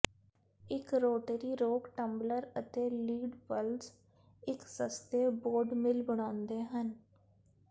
ਇੱਕ rotary rock tumbler ਅਤੇ lead balls ਇੱਕ ਸਸਤੇ ਬੌਡ ਮਿਲ ਬਣਾਉਂਦੇ ਹਨ